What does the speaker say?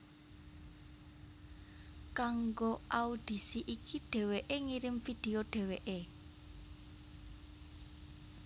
Kanggo audisi iki dhéwéké ngirim video dhéwéké